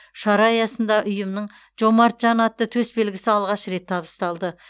шара аясында ұйымның жомарт жан атты төсбелгісі алғаш рет табысталды